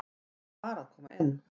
Ég var að koma inn